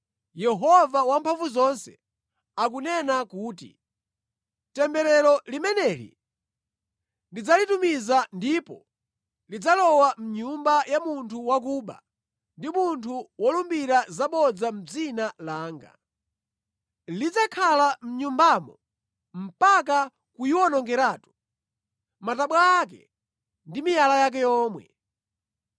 Yehova Wamphamvuzonse akunena kuti, ‘Temberero limeneli ndidzalitumiza, ndipo lidzalowa mʼnyumba ya munthu wakuba ndi munthu wolumbira zabodza mʼdzina langa. Lidzakhala mʼnyumbamo mpaka kuyiwonongeratu, matabwa ake ndi miyala yake yomwe.’ ”